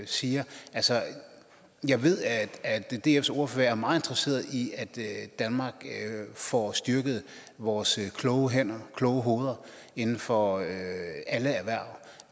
siger jeg ved at dfs ordfører er meget interesseret i at danmark får styrket vores kloge hænder kloge hoveder inden for alle erhverv